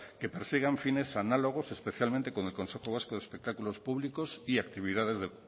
que persigan fines análogos especialmente con el consejo vasco de espectáculos públicos y actividades